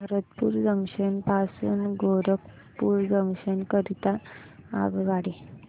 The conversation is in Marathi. भरतपुर जंक्शन पासून गोरखपुर जंक्शन करीता आगगाडी